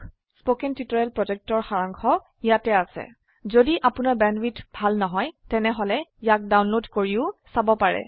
1 কথন শিক্ষণ প্ৰকল্পৰ সাৰাংশ ইয়াত আছে যদি আপোনাৰ বেণ্ডৱিডথ ভাল নহয় তেনেহলে ইয়াক ডাউনলোড কৰি চাব পাৰে